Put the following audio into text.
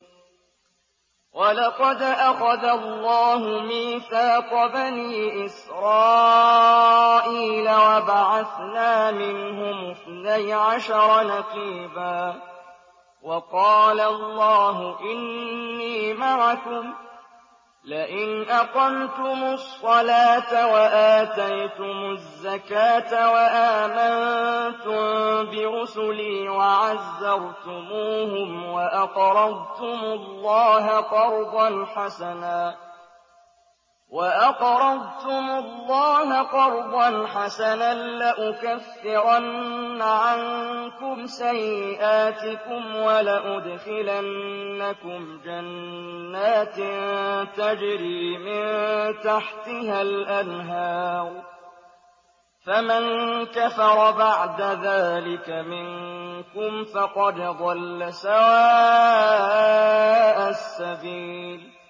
۞ وَلَقَدْ أَخَذَ اللَّهُ مِيثَاقَ بَنِي إِسْرَائِيلَ وَبَعَثْنَا مِنْهُمُ اثْنَيْ عَشَرَ نَقِيبًا ۖ وَقَالَ اللَّهُ إِنِّي مَعَكُمْ ۖ لَئِنْ أَقَمْتُمُ الصَّلَاةَ وَآتَيْتُمُ الزَّكَاةَ وَآمَنتُم بِرُسُلِي وَعَزَّرْتُمُوهُمْ وَأَقْرَضْتُمُ اللَّهَ قَرْضًا حَسَنًا لَّأُكَفِّرَنَّ عَنكُمْ سَيِّئَاتِكُمْ وَلَأُدْخِلَنَّكُمْ جَنَّاتٍ تَجْرِي مِن تَحْتِهَا الْأَنْهَارُ ۚ فَمَن كَفَرَ بَعْدَ ذَٰلِكَ مِنكُمْ فَقَدْ ضَلَّ سَوَاءَ السَّبِيلِ